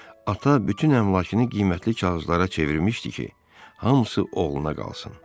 Ata bütün əmlakını qiymətli kağızlara çevirmişdi ki, hamısı oğluna qalsın.